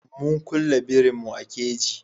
Mun kulle birin mu a kaji